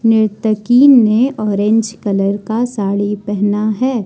निर्तकी ने orange colour का साड़ी पहना है।